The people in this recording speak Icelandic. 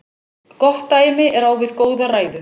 Gott dæmi er á við góða ræðu.